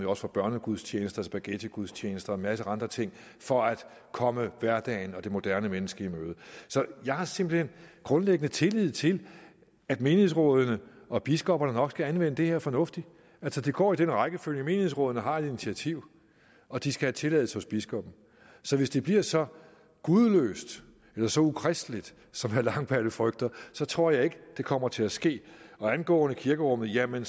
også for børnegudstjenester spaghettigudstjenester og en masse andre ting for at komme hverdagen og det moderne menneske i møde så jeg har simpelt hen grundlæggende tillid til at menighedsrådene og biskopperne nok skal anvende det her fornuftigt altså det går i den rækkefølge menighedsrådene har et initiativ og de skal have tilladelse hos biskoppen så hvis det bliver så gudløst eller så ukristeligt som herre langballe frygter så tror jeg ikke det kommer til at ske og angående kirkerummet jamen